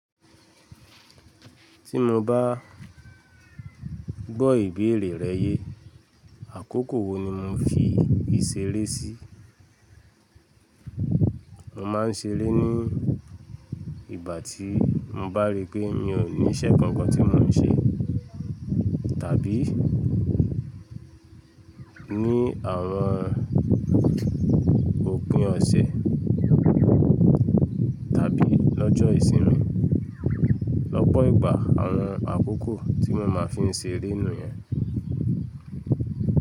Tí mo bá gbọ́ ìbéèrè rẹ yé, àkókò wo ni mo fi íseré sí? Mo máa ń seré ní ìgbà tí mo bá rí pé mi ò ní iṣẹ́ kankan tí mo ń ṣe, tàbí ní àwọn òpin ọ̀sẹ̀ tàbí lọ́jọ́ ìsinmi. Lọ́pọ̀ ìgbà àwọn àkókò tí mo máa fi ń seré nìyẹn.